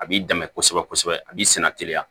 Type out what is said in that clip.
A b'i dɛmɛ kosɛbɛ kosɛbɛ a b'i senna teliya